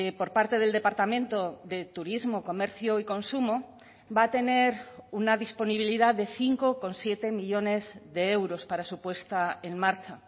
por parte del departamento de turismo comercio y consumo va a tener una disponibilidad de cinco coma siete millónes de euros para su puesta en marcha